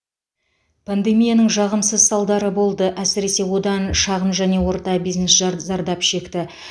пандемияның жағымсыз салдары болды әсіресе одан шағын және орта бизнес жар зардап шекті